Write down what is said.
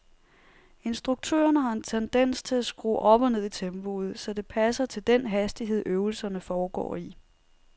Instruktørerne har en tendens til at skrue op og ned i tempoet, så det passer til den hastighed øvelserne foregår i.